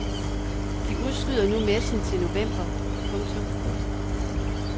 De udskyder nu messen til november. punktum